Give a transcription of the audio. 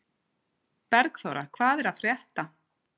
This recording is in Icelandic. Bergþóra, hvað er að frétta?